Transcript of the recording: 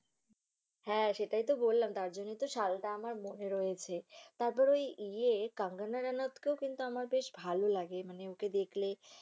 হ্যা, সেটাই তো বললাম। তার জন্য তো সালটা আমার মনে রয়েছে। তারপরে ইয়ে কাঙ্গনা রানাওাতকেও কিন্তু আমার বেশ ভালো লাগে মানে ওকে দেখলে